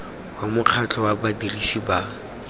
wa mokgatlho wa badirisi ba